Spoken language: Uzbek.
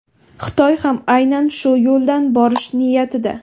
Xitoy ham aynan shu yo‘ldan borish niyatida.